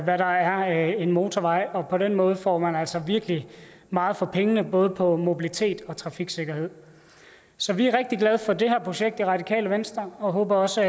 der er en motorvej og på den måde får man altså virkelig meget for pengene både på mobilitet og trafiksikkerhed så vi er rigtig glade for det her projekt i radikale venstre og håber også